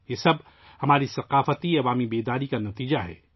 یہ سب ہماری اجتماعی ثقافتی بیداری کا نتیجہ ہے